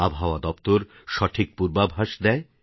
আবহাওয়া দপ্তর সঠিক পূর্বাভাস দেয়